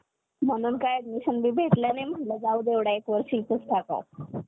नमस्कार, आपण आज जरा अं वातावरण बदलात कारणीभूत असलेले घटक या विषयावर अं थोडं बोलूया. अं तर आज आपण बघितलं तर भारतामध्ये किंवा जगामध्ये